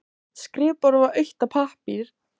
Skrifborðið var autt af pappír.